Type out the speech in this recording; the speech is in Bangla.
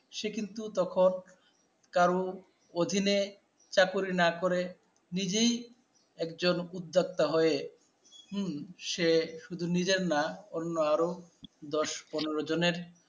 সে কিন্তু তখন, কারও অধীনে চাকরি না করে নিজেই একজন উদ্যোক্তা হয়ে হম সে শুধু নিজের না অন্য আরও দশ পনের জনের